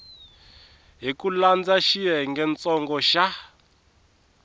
hi ku landza xiyengentsongo xa